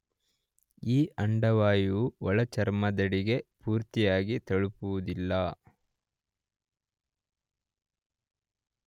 ಈ ಅಂಡವಾಯುವು ಒಳಚರ್ಮದಡಿಗೆ ಪೂರ್ತಿಯಾಗಿ ತಲುಪುವುದಿಲ್ಲ